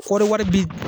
Kɔɔri wari bi